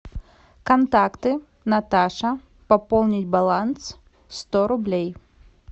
контакты наташа пополнить баланс сто рублей